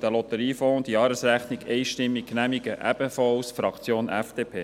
des Lotteriefonds einstimmig, ebenfalls tut dies die Fraktion FDP.